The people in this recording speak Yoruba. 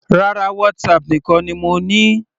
Rárá, WhatsApp nìkan ni mo ní.